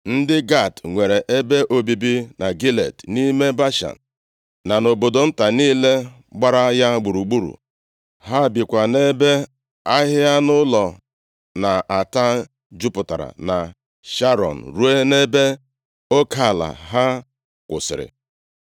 Ndị Gad nwere ebe obibi na Gilead nʼime Bashan, na nʼobodo nta niile gbara ya gburugburu. Ha bikwa nʼebe ahịhịa anụ ụlọ na-ata jupụtara na Sharọn ruo nʼebe oke ala ha kwụsịrị.